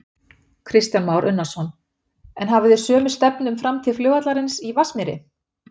Kristján Már Unnarsson: En hafið þið sömu stefnu um framtíð flugvallarins í Vatnsmýri?